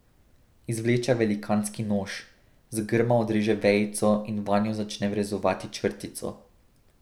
Izvleče velikanski nož, z grma odreže vejico in vanjo začne vrezovati črtico.